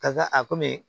Ka taa a komi